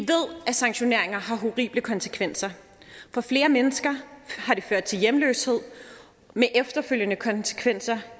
at sanktioneringer har horrible konsekvenser for flere mennesker har det ført til hjemløshed med efterfølgende konsekvenser